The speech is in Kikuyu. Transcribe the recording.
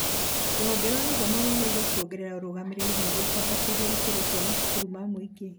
Rũhonge rwa gĩtthomo rwagĩrĩirwo kuongerera ũrũgamĩrĩri nĩguo kwambatĩria ikĩro cia macukuru ma mũngĩ